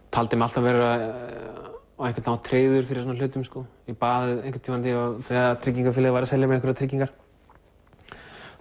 taldi mig alltaf vera á einhvern hátt tryggður fyrir svona hlutum ég bað einhvern tímann þegar tryggingafélagið var að selja einhverjar tryggingar